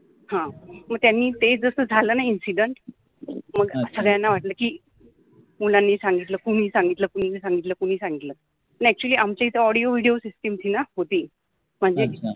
ह मग त्यानि ते जस झाल न इंसिडंट मग सगळ्याना वाटल कि मुलानि सांगितल कुणि सांगितल मि नाहि सांगितल कुणि सांगितल नाई अ‍ॅक्च्युअलि आम्च्याइअथ ऑडिओ विडिओ सिस्टम होति म्हणजे